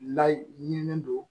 Layi ɲinini don